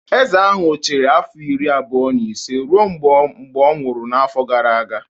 Eze ahụ chịrị afọ iri abụọ na ise ruo mgbe ọ nwụrụ n'afọ gara aga